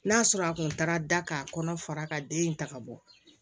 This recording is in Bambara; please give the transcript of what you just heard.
N'a sɔrɔ a kun taara da k'a kɔnɔ fara ka den in ta ka bɔ